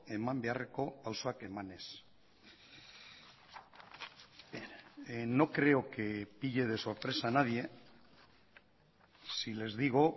eman beharreko pausoak emanez no creo que pille de sorpresa a nadie si les digo